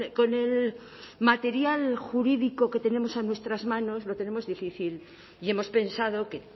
con el material jurídico que tenemos en nuestras manos lo tenemos difícil y hemos pensado que